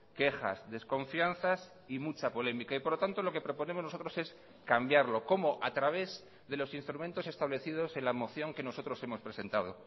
quejas desconfianzas y mucha polémica y por lo tanto lo que proponemos nosotros es cambiarlo cómo a través de los instrumentos establecidos en la moción que nosotros hemos presentado